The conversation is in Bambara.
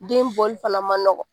Den bɔli fana man nɔgɔ.